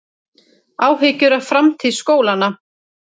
Áhyggjur af framtíð skólanna